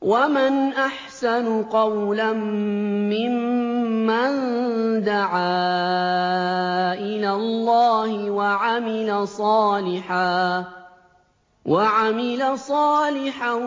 وَمَنْ أَحْسَنُ قَوْلًا مِّمَّن دَعَا إِلَى اللَّهِ وَعَمِلَ صَالِحًا